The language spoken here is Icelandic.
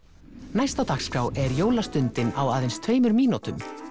næst á dagskrá er á aðeins tveimur mínútum